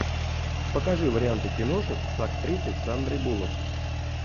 покажи варианты киношек с актрисой сандрой буллок